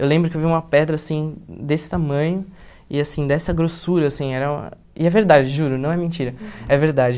Eu lembro que eu vi uma pedra assim, desse tamanho, e assim, dessa grossura, assim, era e é verdade, juro, não é mentira, é verdade.